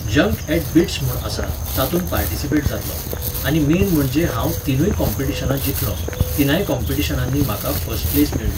Junk at BITS म्हूण आसा, तातूंत पार्टिसिपेट जाल्लों, आनी मेन म्हणजे हांव तिनूय कॉंपिटिशनां जिखलों, तिनांय कॉंपिटिशनांनी म्हाका फस्ट प्लेस मेळ्ळी.